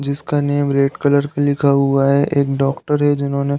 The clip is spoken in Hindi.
जिसका नेम रेड कलर पे लिखा हुआ है एक डॉक्टर है जिन्होंने --